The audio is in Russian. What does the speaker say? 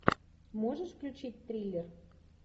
можешь включить триллер